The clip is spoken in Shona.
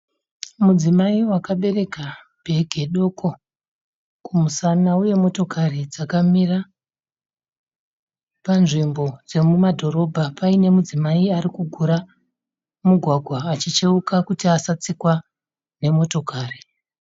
Mudzimai wakabereka bhege doko kumúsana uye motokari dzakamira panzvimbo dzemumadhorobha. Paine mudzimai arikugura mugwagwa achicheuka kuti asatsikwa nemotokari.